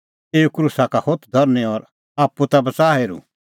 एऊ क्रूसा का होथ धरनीं और आप्पू ता बच़ हेरुं